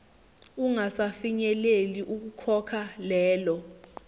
ungasafinyeleli ukukhokha lelo